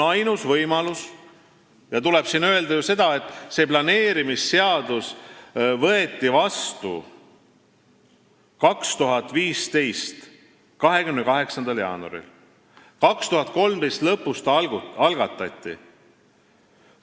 Siin tuleb öelda, et planeerimisseadus võeti vastu 2015. aasta 28. jaanuaril, 2013. aasta lõpus see algatati.